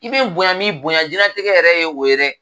I be n bonya n m'i bonya jɛnlatigɛ yɛrɛ ye o ye dɛ